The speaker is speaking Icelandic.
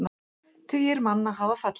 Tugir manna hafa fallið.